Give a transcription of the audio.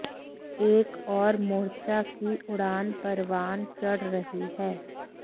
एक और मोर्चा की उड़ान परवान चढ़ रही है